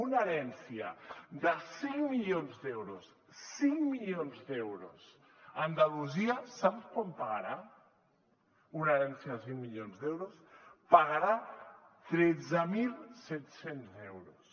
una herència de cinc milions d’euros cinc milions d’euros a andalusia sap quant pagarà una herència de cinc milions d’euros pagarà tretze mil set cents euros